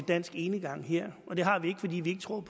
dansk enegang her og det har vi ikke fordi vi ikke tror